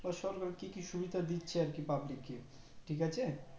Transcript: সরকার আর কি কি সুবিধে দিচ্ছে আর কি public কে ঠিক আছে